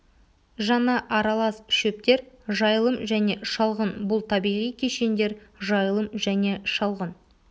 жаңа аралас шөптер жайылым және шалғын бұл табиғи кешендер жайылым және шалғын